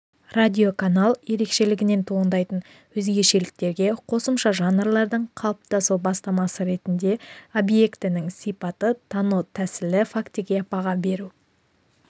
радиоканал ерекшелігінен туындайтын өзгешеліктерге қосымша жанрлардың қалыптасу бастамасы ретінде объектінің сипаты тану тәсілі фактіге баға беру